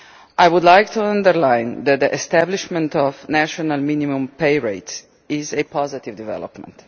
I would like to underline that the establishment of national minimum pay rates is a positive development.